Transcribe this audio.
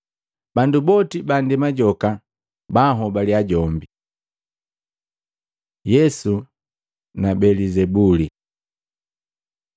Bandu boti bandema joka banhobaliya jombi.” Yesu na Belizebuli Maluko 3:20-30; Luka 11:14-23